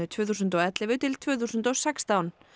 tvö þúsund og ellefu til tvö þúsund og sextán